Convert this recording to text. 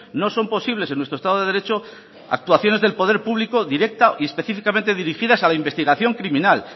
no son posibles en nuestro estado de derecho actuaciones del poder público directa y específicamente dirigidas a la investigación criminal